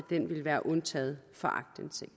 ville være undtaget fra aktindsigt